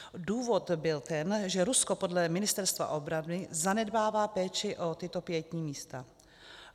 Důvod byl ten, že Rusko podle Ministerstva obrany zanedbává péči o tato pietní místa.